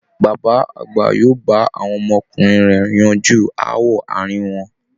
Bàbá àgbà yóò bá àwọn ọmọkùnrin rẹ̀ yanjú aáwọ aàrin wọn